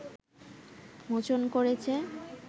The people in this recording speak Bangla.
মোচন করেছে